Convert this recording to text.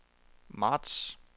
marts